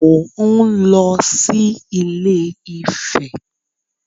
Mò ń lọ sí Ilé-Ifẹ̀